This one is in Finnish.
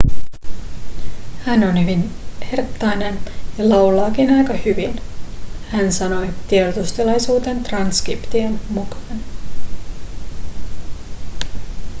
hän on hyvin herttainen ja laulaakin aika hyvin hän sanoi tiedotustilaisuuden transkription mukaan